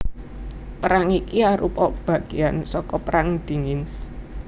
Perang iki arupa bagéan saka Perang Dingin